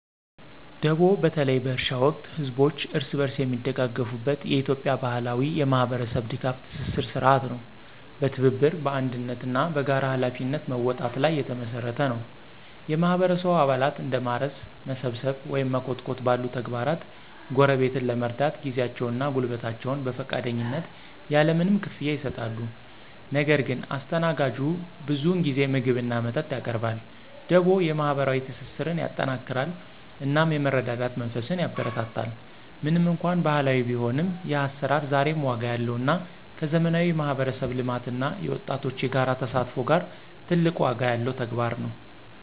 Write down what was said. ደቦ በተለይ በእርሻ ወቅት ህዝቦች እርስ በርስ የሚደጋገፉበት የኢትዮጵያ ባህላዊ የማህበረሰብ ድጋፍ ትስስር ሥርዓት ነው። በትብብር፣ በአንድነት እና በጋራ ኃላፊነት መወጣት ላይ የተመሰረተ ነው። የማህበረሰቡ አባላት እንደ ማረስ፣ መሰብሰብ ወይም መኮትኮት ባሉ ተግባራት ጎረቤትን ለመርዳት ጊዜያቸውን እና ጉልበታቸውን በፈቃደኝነት ያለ ምንም ክፍያ ይሰጣሉ። ነገር ግን አስተናጋጁ ብዙውን ጊዜ ምግብ እና መጠጥ ያቀርባል። ደቦ የማህበራዊ ትስስርን ያጠናክራል እናም የመረዳዳት መንፈስን ያበረታታል። ምንም እንኳን ባህላዊ ቢሆንም፣ ይህ አሰራር ዛሬም ዋጋ ያለው እና ከዘመናዊ የማህበረሰብ ልማት እና የወጣቶች የጋራ ተሳትፎ ጋራ ትልቅ ዋጋ ያለው ተግባር ነው።